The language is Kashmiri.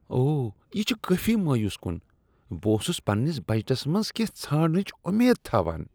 اوہ، یہ چھ کٲفی مایوس کن۔ بہٕ اوسس پننس بجٹس منٛز کینٛہہ ژھانڈنٕچ امید تھاوان۔